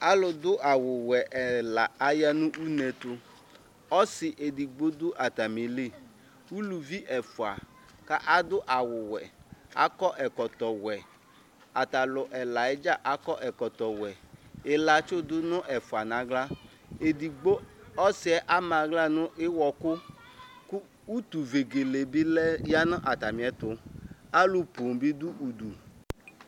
Alʊdʊ awʊwɛ ɛla aya nʊ unetu Ɔsi edigbo dʊ atamili Uluvi ɛfwa kʊ adʊ awʊwɛ, akɔ ɛkɔtɔwɛ Ata alʊ ɛla yɛ dza akɔ ɛkɔtɔwɛ Ɩlatsʊ dʊ nʊ ɛfoa nʊ aɣla Ɔsi yɛ ama aɣla nʊ ɩwɔkʊ Kʊ utu vegele bilɛ nʊ atamiɛtʊ Alʊ poo bi dʊ udu